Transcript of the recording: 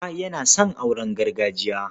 Auta yana son auren gargajiya.